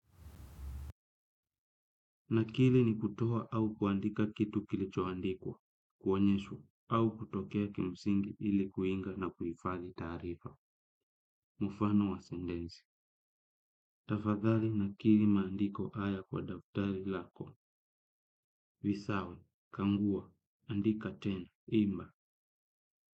Nakili ni kutoa au kuandika kitu kilichoandikwa, kuonyeshwa, au kutokea kimsingi ili kuinga na kuhifadhi taarifa. Mfano wa sendensi. Tafadhali nakili maandiko haya kwa daftari lako, visawe, kaagua, andika tena, imba.